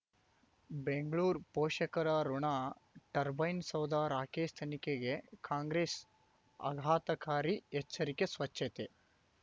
ಬೆಂಗ್ಳೂರು ಪೋಷಕರಋಣ ಟರ್ಬೈನ್ ಸೌಧ ರಾಕೇಶ್ ತನಿಖೆಗೆ ಕಾಂಗ್ರೆಸ್ ಆಘಾತಕಾರಿ ಎಚ್ಚರಿಕೆ ಸ್ವಚ್ಛತೆ